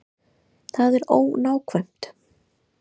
Það er ónákvæmt.